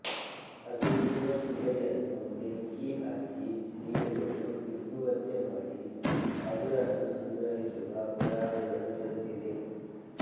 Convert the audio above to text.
ಅದುರಿರುವ ಶಿಲೆಯನ್ನು ಬೆಂಕಿಹಾಕಿ ಸೀಳುಗಳು ಹಿಗ್ಗುವಂತೆ ಮಾಡಿ ಅದುರನ್ನು ಸಂಗ್ರಹಿಸಿರುವ ಪುರಾವೆಗಳು ದೊರೆತಿವೆ